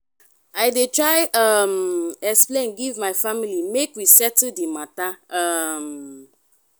i dey try um explain give my family make we settle di mata. um